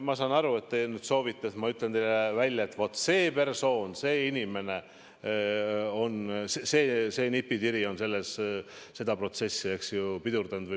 Ma saan aru, et te soovite, et ma ütleks teile välja: see persoon, see inimene, see nipitiri on seda protsessi pidurdanud.